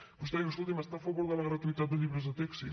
però vostè diu escolti’m està a favor de la gratuïtat de llibres de text sí